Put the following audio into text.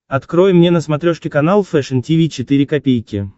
открой мне на смотрешке канал фэшн ти ви четыре ка